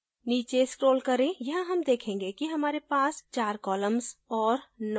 नीचे scroll करें यहाँ हम देखेंगे कि हमारे पास 4 columns और 9 events हैं